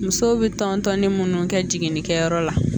Musow bɛ tɔntɔn ni minnu kɛ jiginnikɛyɔrɔ la